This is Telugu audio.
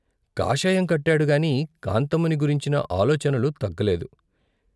కాషాయం కట్టాడుగాని, కాంతమ్మని గురించిన ఆలోచనలు తగ్గలేదు.